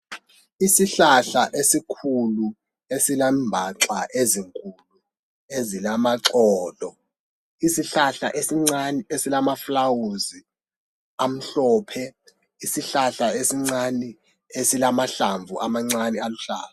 Isihlahla esikhulu esilembaxa ezinkulu ezilamaxolo. Isihlahla esincane esilamaflawusi amhlophe. Isihlahla esincani esilamahlamvu amancane aluhlaza.